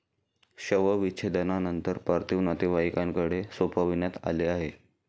शवविच्छेदनानंतर पार्थिव नातेवाईकांनाकडे सोपविण्यात आले आहे.